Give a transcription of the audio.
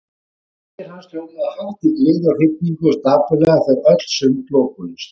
Strengir hans hljómuðu hátt í gleði og hrifningu og dapurlega þegar öll sund lokuðust.